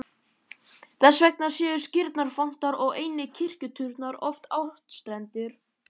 Þess vegna séu skírnarfontar og einnig kirkjuturnar oft áttstrendir.